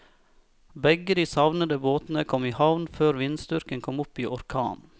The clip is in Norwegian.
Begge de savnede båtene kom i havn før vindstyrken kom opp i orkan.